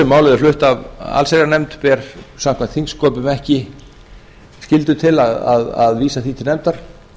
flutt af allsherjarnefnd ber samkvæmt þingsköpum ekki skylda til að vísa því til nefndar